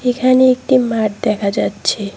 এখানে একটি মাঠ দেখা যাচ্ছে।